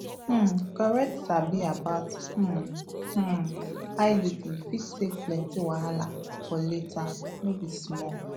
um correct sabi about um um iud fit save plenty wahala for later no be small